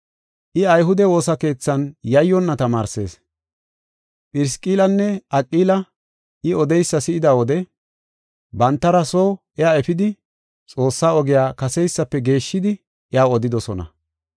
I ayhude woosa keethan yayyonna tamaarsees. Phirisqillanne Aqili I odeysa si7ida wode bantara soo iya efidi Xoossaa ogiya kaseysafe geeshshidi iyaw odidosona.